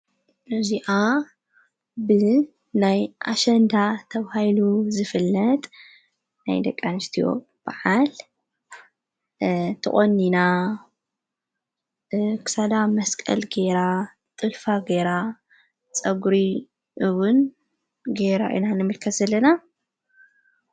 ነዙኣ ብ ናይ ኣሸንዳ ተውሂይሉ ዝፍለጥ ናይ ደቃንስቲዎ በዓል ተቖኒና ፤ክሳዳ መስቀል ገይ፤ ጥልፋ ገይራ ፤ጸጕሪውን ገይራ እናንምልከስለና።